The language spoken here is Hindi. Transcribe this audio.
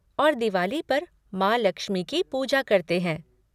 और दिवाली पर माँ लक्ष्मी की पूजा करते हैं।